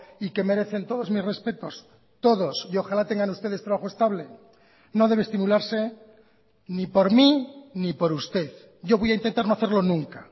y que merecen todos mis respetos todos y ojalá tengan ustedes trabajo estable no debe estimularse ni por mí ni por usted yo voy a intentar no hacerlo nunca